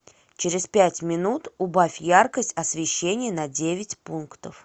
через пять минут убавь яркость освещения на девять пунктов